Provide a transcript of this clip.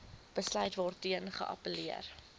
besluit waarteen geappelleer